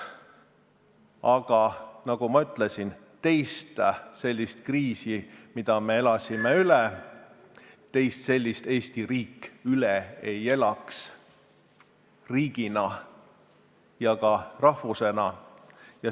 Aga nagu ma ütlesin, teist sellist kriisi, nagu me üle elasime, Eesti riik riigina ja ka eestlased rahvusena üle ei elaks.